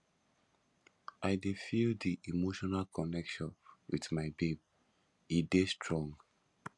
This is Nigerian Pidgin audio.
i dey feel di emotional connection wit my babe e dey strong